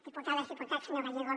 diputades i diputats senyor gallego